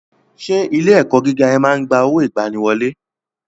Ṣé ilé ẹ̀kọ́ gíga ẹ máa ń gba owó ìgbaniwọlé?